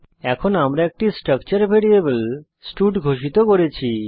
এখন আমরা একটি স্ট্রাকচার ভ্যারিয়েবল স্টাড ঘোষিত করেছি